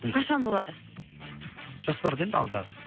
қашан болда жоспарда енді алдағы